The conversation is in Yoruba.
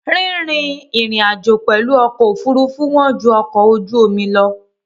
Rín rin ìrìn-àjò pẹ̀lú ọkọ̀ òfurufú wọ́n ju ọkọ̀ ojú omi lọ.